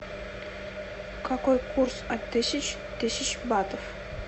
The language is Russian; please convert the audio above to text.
какой курс от тысяч тысяч батов